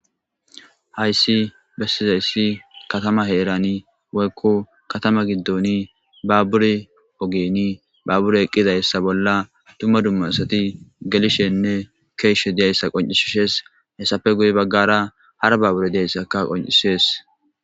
hayssi bessizayssi katama heerani woykko katama giddoni baaburi ogeni baabure eqqidayssa bolla dumma dumma asati gelishenne keeshe diyayssa qoncishishees hessafe guye baggara hara baabure diyayssaka qoncisees